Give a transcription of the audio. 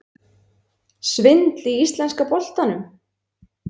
Svindl í íslenska boltanum?